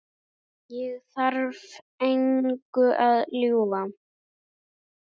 Ég þarf engu að ljúga.